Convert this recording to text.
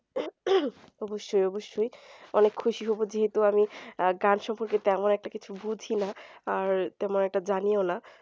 অবশ্যই অবশ্যই অনেক খুশী হবো যেহেতু আমি গান সম্পর্কে তেমন একটা কিছু বুঝিনা আর তেমন একটা জানিও না